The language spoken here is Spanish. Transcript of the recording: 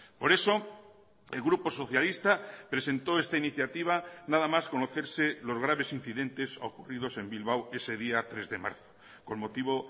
por eso el grupo socialista presentó esta iniciativa nada más conocerse los graves incidentes ocurridos en bilbao ese día tres de marzo con motivo